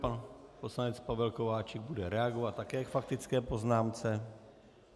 Pan poslanec Pavel Kováčik bude reagovat také ve faktické poznámce.